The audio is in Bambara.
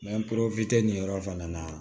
nin yɔrɔ fana na